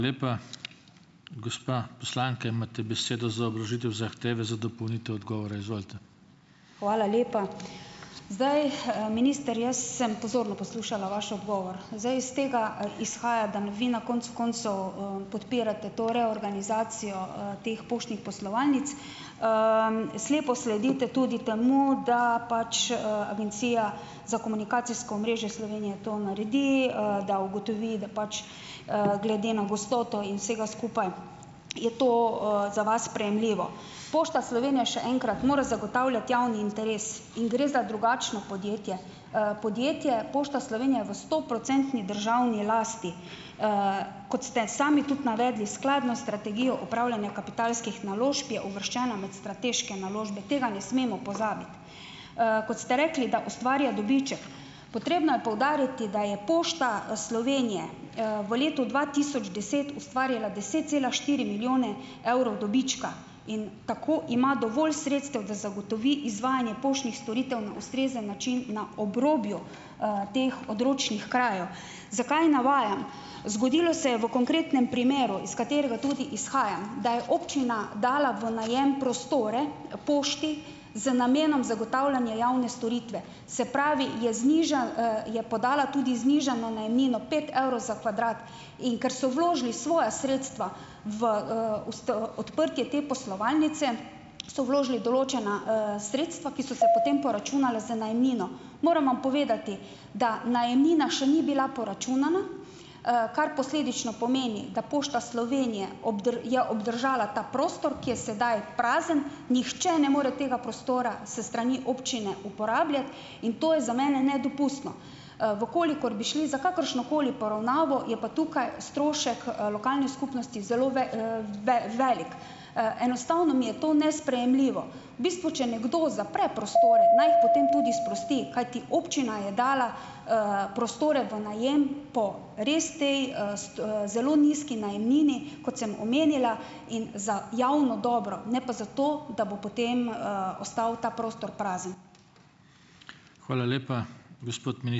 Gospa poslanka, imate besedo za obložitev zahteve za dopolnitev odgovora, izvolite. Hvala lepa. Zdaj, minister jaz sem pozorno poslušala vaš odgovor. Zdaj, iz tega izhaja, da n vi na konec koncev, podpirate to reorganizacijo, teh poštnih poslovalnic. Slepo sledite tudi temu, da pač, Agencija za komunikacijsko omrežje Slovenije to naredi, da ugotovi, da pač, glede na gostoto in vsega je to, za vas sprejemljivo. Pošta Slovenije, še enkrat, mora zagotavljati javni interes. In gre za drugačno podjetje. Podjetje Pošta Slovenije je v stoprocentni državni lasti. Kot ste sami tudi navedli, skladno s strategijo upravljanja kapitalskih naložb je uvrščena med strateške naložbe. Tega ne smemo pozabiti. Kot ste rekli, da ustvarja dobiček. Potrebno je poudariti, da je Pošta Slovenije, v letu dva tisoč deset ustvarjala deset cela štiri milijone evrov dobička. In tako ima dovolj sredstev, da zagotovi izvajanje poštnih storitev na ustrezen način na obrobju, teh odročnih krajev. Zakaj navajam? Zgodilo se je v konkretnem primeru, iz katerega tudi izhajam, da je občina dala v najem prostore pošti z namenom zagotavljanja javne storitve. Se pravi, je je podala tudi znižano najemnino pet evrov za kvadrat. In ker so vložili svoja sredstva v, odprtje te poslovalnice so vložili določena, sredstva, ki so se potem poračunala z najemnino. Moram vam povedati, da najemnina še ni bila poračunana, kar posledično pomeni, da Pošta Slovenije je obdržala ta prostor, ki je sedaj prazen, nihče ne more tega prostora s strani občine uporabljati. In to je za mene nedopustno. V kolikor bi šli za kakršnokoli poravnavo, je pa tukaj strošek, lokalne skupnosti zelo velik. Enostavno mi je to nesprejemljivo. V bistvu, če nekdo zapre prostore, naj jih potem tudi sprosti , kajti občina je dala, prostore v najem po res tej, zelo nizki najemnini, kot sem omenila, in za javno dobro. Ne pa zato, da bo potem, ostal ta prostor prazen. Hvala lepa. Gospod ...